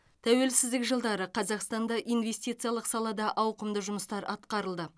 тәуелсіздік жылдары қазақстанда инвестициялық салада ауқымды жұмыстар атқарылды